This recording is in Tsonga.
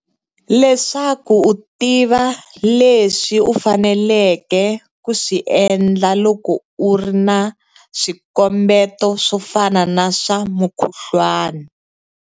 Leswaku u tiva leswi u faneleke ku swi endla loko u ri na swikombeto swo fana na swa mukhuhlwana.